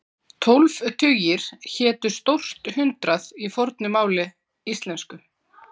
Tólf tugir hétu stórt hundrað í fornu máli íslensku.